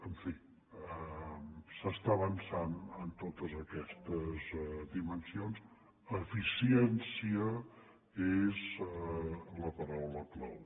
en fi s’està avançant en totes aquestes dimensions eficiència és la paraula clau